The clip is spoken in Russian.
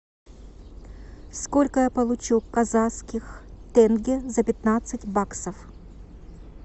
сколько я получу казахских тенге за пятнадцать баксов